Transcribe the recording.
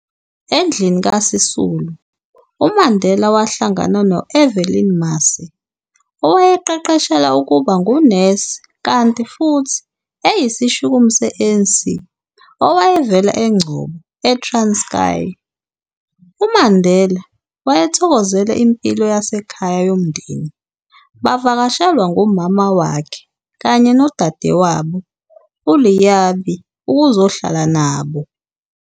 Endlini kaSisulu, uMandela wahlangana no-Evelyn Mase, owayeqeqeshela ukuba ngu-nesi kanti futhi eyisishukumi se-ANC, owayevela e-Engcobo, Transkei. UMandela wayethokozela impilo yasekhaya yomndeni, bavakashelwa ngumama wakhe kanye nodadewabo, uLeabie ukuzohlala nabo.